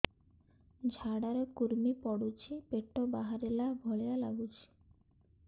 ଝାଡା ରେ କୁର୍ମି ପଡୁଛି ପେଟ ବାହାରିଲା ଭଳିଆ ଲାଗୁଚି